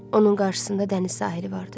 Onun qarşısında dəniz sahili vardı.